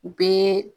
U bɛ